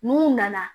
N'u nana